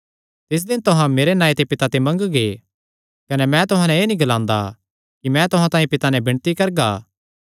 तिस दिन तुहां मेरे नांऐ ते पिता ते मंगगे कने मैं तुहां नैं एह़ नीं ग्लांदा कि मैं तुहां तांई पिता नैं विणती करगा